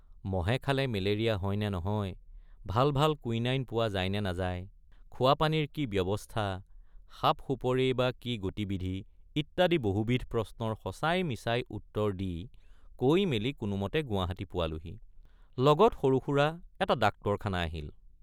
মহে খালে মেলেৰিয়া হয় নে নহয় ভাল ভাল কুইনাইন পোৱা যায় নে নাযায়৷ খোৱাপানীৰ কি ব্যৱস্থাসাপসুপৰেইবা কেনে গতিবিধি ইত্যাদি বহুবিধ প্ৰশ্নৰ সঁচাইমিছাই উত্তৰ দি কৈমেলি কোনোমতে গুৱাহাটী পোৱালোহি লগত সৰুসুৰা এটা ডাক্তৰখানা আহিল।